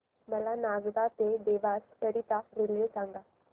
मला नागदा ते देवास करीता रेल्वे सांगा